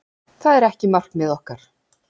Það er ekki markmið okkar.